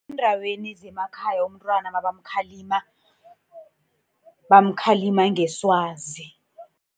Eendaweni zemakhaya umntwana nabamkhalima, bamkhalima ngeswazi.